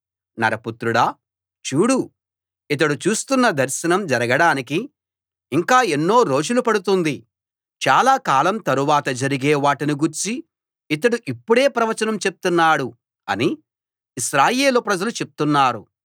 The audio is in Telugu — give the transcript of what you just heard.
నరపుత్రుడా చూడు ఇతడు చూస్తున్న దర్శనం జరగడానికి ఇంకా ఎన్నో రోజులు పడుతుంది చాలా కలం తరవాత జరిగే వాటిని గూర్చి ఇతడు ఇప్పుడే ప్రవచనం చెప్తున్నాడు అని ఇశ్రాయేలు ప్రజలు చెప్తున్నారు